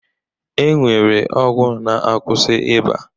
E nwere ọgwụ na-akwụsị ịba